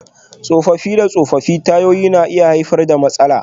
Tsofaffi da tsofaffin tayoyi na iya haifar da haɗari.